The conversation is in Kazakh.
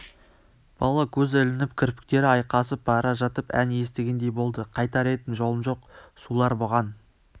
бала көзі ілініп кірпіктері айқасып бара жатып ән естігендей болды қайтар едім жолым жоқ сулар бұған